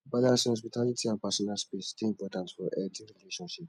balancing hospitality and personal space dey important for healthy relationships